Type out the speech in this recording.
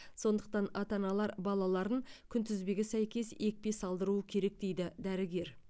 сондықтан ата аналар балаларын күнтізбеге сәйкес екпе салдыруы керек дейді дәрігер